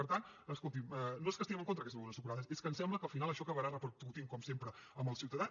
per tant escolti’m no és que estiguem en contra d’aquestes begudes ensucrades és que ens sembla que al final això acabarà repercutint com sempre en el ciutadà